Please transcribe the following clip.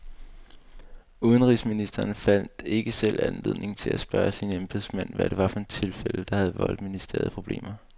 Udenrigsministeren fandt ikke selv anledning til at spørge sine embedsmænd, hvad det var for et tilfælde, der havde voldt ministeriet problemer.